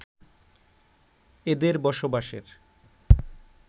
এদের বসবাসের